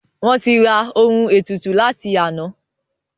Wọ́n ti ra Ohun ètùtù láti àná